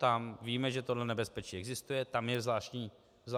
Tam víme, že tohle nebezpečí existuje, tam je zvláštní úprava.